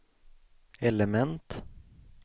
element